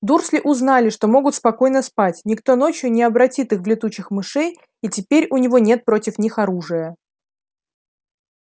дурсли узнали что могут спокойно спать никто ночью не обратит их в летучих мышей и теперь у него нет против них оружия